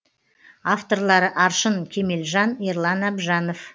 авторлары аршын кемелжан ерлан әбжанов